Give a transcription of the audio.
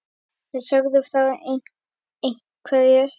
Þær sögðu frá ein- hverju.